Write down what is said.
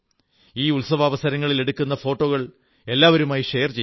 ഈ ഉത്സവാവസരങ്ങളിൽ എടുക്കുന്ന ഫോട്ടോകൾ എല്ലാവരുമായി ഷെയർ ചെയ്യുക